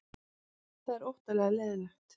Þetta er óttalega leiðinlegt